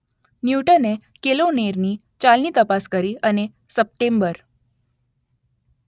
ન્યૂટને કેલોનેરની ચાલની તપાસ કરી અને સપ્ટેમ્બર